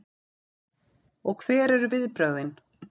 Og hver eru viðbrögðin?